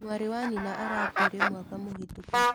Mwarĩwa nyina arakuire mwaka mũhĩtũku.